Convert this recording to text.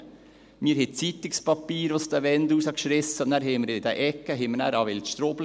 Wir rissen Zeitungspapier aus den Wänden und sahen dann durch diese Ecke den Wildstrubel.